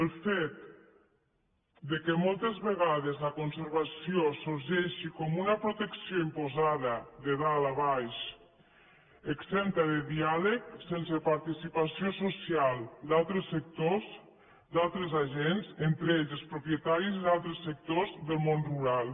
el fet que moltes vegades la conservació es deixi com una protecció imposada de dalt a baix exempta de diàleg sense participació social d’altres sectors d’altres agents entre ells els propietaris d’altres sectors del món rural